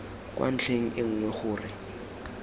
kwa ntlheng e nngwe gore